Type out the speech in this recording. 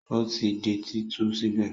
Ó ti di títú sílẹ̀?